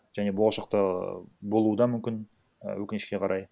және болашақта болуы да мүмкін і өкінішке қарай